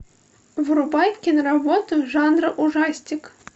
врубай киноработу жанра ужастик